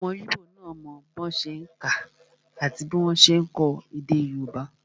Ọmọ íbò náà mọ bí wọ́n ṣe n kà àti bí wọ́n ṣe n kọ èdè yóòbá